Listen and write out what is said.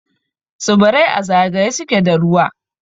Tsibirai a zagaye suke da ruwa.